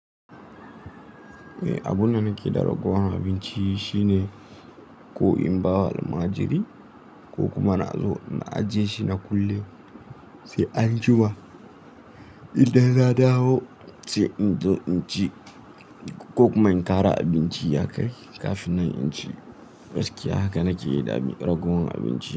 Eh, abunda nake da ragowar abinci shine ko in bawa almajiri ko kuma na zo na ajiye shi na kulle, sai anjima idan zan dawo sai in zo in ci ko kuma in kara abinci ya kai kafin na inci. Gaskiya haka nake yi da ragowar abinci.